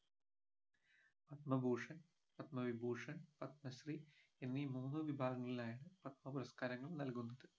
പത്മഭൂഷൻ പത്മവിഭൂഷൺ പത്മശ്രീ എന്നീ മൂന്ന് വിഭാഗങ്ങളിലായാണ് പത്മ പുരസ്കാരങ്ങൾ നൽകുന്നത്